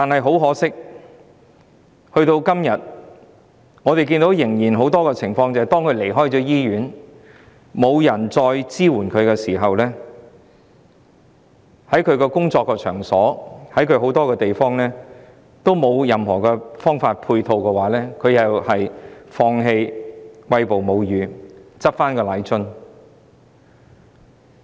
很可惜，到了今天，仍有很多婦女在離開醫院後，因為再得不到任何支援，加上她們的工作場所和很多公共場所沒有任何相關配套設施，最後只好放棄餵哺母乳，重拾奶樽。